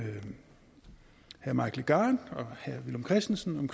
herre mike legarth og herre villum christensen om